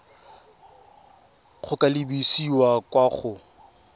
go ka lebisa kwa go